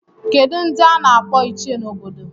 Kedu ndị a n'akpọ ichie n'obodo?